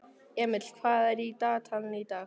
Emil, hvað er á dagatalinu í dag?